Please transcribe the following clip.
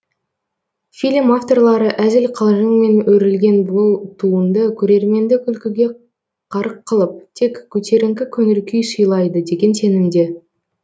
фильм авторлары әзіл қалжыңмен өрілген бұл туынды көрерменді күлкіге қарық қылып тек көтеріңкі көңіл күй сыйлайды деген сенімде